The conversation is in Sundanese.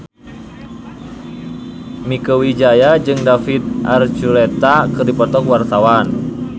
Mieke Wijaya jeung David Archuletta keur dipoto ku wartawan